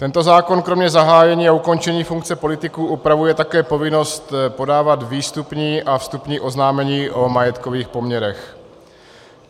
Tento zákon kromě zahájení a ukončení funkce politiků upravuje také povinnost podávat výstupní a vstupní oznámení o majetkových poměrech.